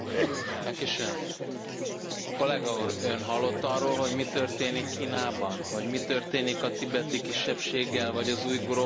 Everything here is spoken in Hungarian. Kolléga Úr, Ön hallott arról, hogy mi történik Kínában? Hogy mi történik a tibeti kisebbséggel, vagy az ujgurokkal, vagy a Falun kung követőivel?